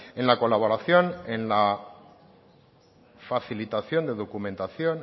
en la colaboración en la facilitación de documentación